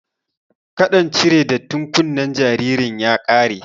Kaɗan cire dattin kunnen jaririn ya ƙare